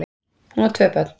Hún á tvö börn